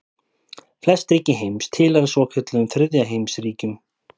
Flest ríki heims tilheyra svokölluðum þriðja heims ríkjum.